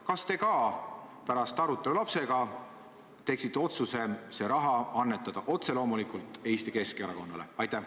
Kas te ka pärast arutelu lapsega teeksite otsuse see raha ära annetada otse loomulikult Eesti Keskerakonnale?